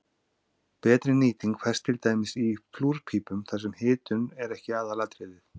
betri nýting fæst til dæmis í flúrpípum þar sem hitun er ekki aðalatriðið